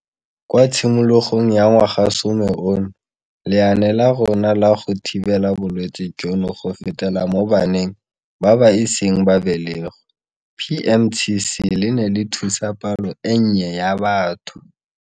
Kwa tshimologong ya ngwagasome ono, lenaane la rona la go thibela bolwetse jono go fetela mo baneng ba ba iseng ba belegwe PMTCT le ne le thusa palo e nnye ya batho.